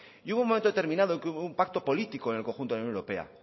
y hubo un momento determinado en que hubo un pacto político en el conjunto de la unión europea